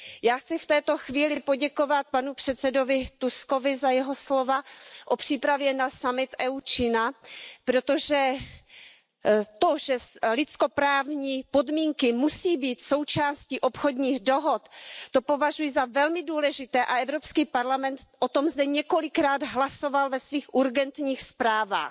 Já chci v toto chvíli poděkovat panu předsedovi Tuskovi za jeho slova o přípravě summitu EU Čína, protože to, že lidskoprávní podmínky musí být součástí obchodních dohod, považuji za velmi důležité a Evropský parlament o tom zde několikrát hlasoval ve svých urgentních zprávách.